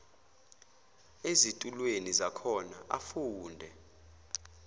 ezitulweni zakhona afunde